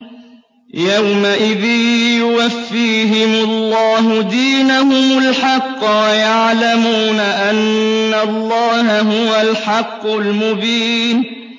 يَوْمَئِذٍ يُوَفِّيهِمُ اللَّهُ دِينَهُمُ الْحَقَّ وَيَعْلَمُونَ أَنَّ اللَّهَ هُوَ الْحَقُّ الْمُبِينُ